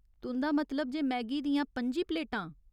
तुं'दा मतलब जे मैगी दियां पं'जी प्लेटां ?